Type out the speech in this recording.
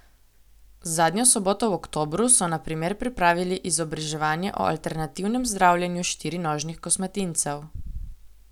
Zadnjo soboto v oktobru so na primer pripravili izobraževanje o alternativnem zdravljenju štirinožnih kosmatincev.